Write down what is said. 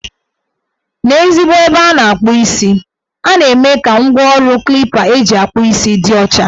N' ezigbo ebe a na-akpụ isi, a na-eme ka ngwaọrụ Klipa eji akpụ isi dị ọcha.